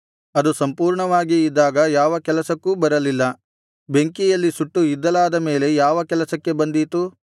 ಅದು ಸಂಪೂರ್ಣವಾಗಿ ಇದ್ದಾಗ ಯಾವ ಕೆಲಸಕ್ಕೂ ಬರಲಿಲ್ಲ ಬೆಂಕಿಯಲ್ಲಿ ಸುಟ್ಟು ಇದ್ದಲಾದ ಮೇಲೆ ಯಾವ ಕೆಲಸಕ್ಕೆ ಬಂದೀತು